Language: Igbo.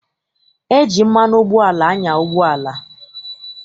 E ji mmanụ ụgbọala anya ụgbọala.